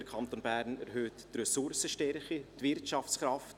Der Kanton Bern erhöht die Ressourcenstärke, die Wirtschaftskraft.